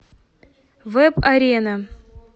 вэб арена